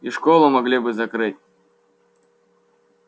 и школу могли бы закрыть